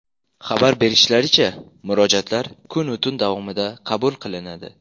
Xabar berishlaricha, murojaatlar kunu tun davomida qabul qilinadi.